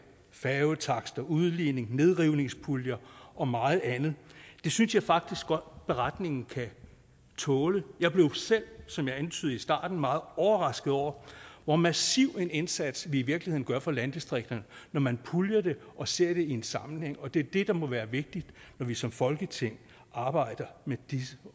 færgetakster udligning nedrivningspuljer og meget andet det synes jeg faktisk godt beretningen kan tåle jeg blev selv som jeg antydede i starten meget overrasket over hvor massiv en indsats vi i virkeligheden gør for landdistrikterne når man puljer det og ser det i en sammenhæng og det er det der må være vigtigt når vi som folketing arbejder med disse